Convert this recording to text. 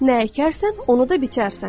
Nə əkərsən, onu da biçərsən.